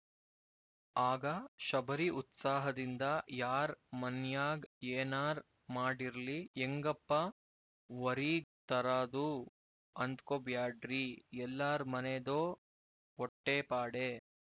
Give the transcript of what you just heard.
ಆಗ ಶಬರಿ ಉತ್ಸಾಹದಿಂದ ಯಾರ್ ಮನ್ಯಾಗ್ ಏನಾರ್ ಮಾಡಿರ್ಲಿ ಎಂಗಪ್ಪ ವೊರೀಗ್ ತರಾದು ಅಂದ್ಕೊಬ್ಯಾಡ್ರಿ ಎಲ್ಲಾರ್ ಮನೇದೂ ವೊಟ್ಟೇಪಾಡೇ